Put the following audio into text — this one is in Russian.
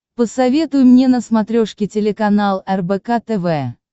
посоветуй мне на смотрешке телеканал рбк тв